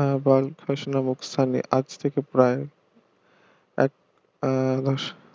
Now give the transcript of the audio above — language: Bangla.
আহ বাল খাস নামক স্থানে আজ থেকে প্রায় এক আহ